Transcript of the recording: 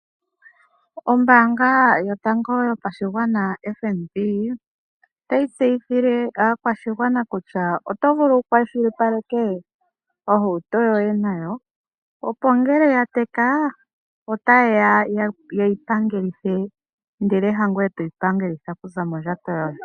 Ombaanga yotango yopashigwana , FNB otayi tseyithile aakwashigwana kutya oto vulu wu kwashilipaleke ohauto yoye nayo, opo ngele ya teka otaye ya ye yi pangelithe, ihe hangoye toyi pangelitha okuza mondjato yoye.